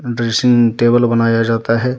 Dressing table बनाया जाता है।